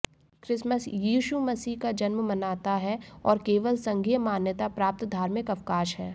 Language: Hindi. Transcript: क्रिसमस यीशु मसीह का जन्म मनाता है और केवल संघीय मान्यता प्राप्त धार्मिक अवकाश है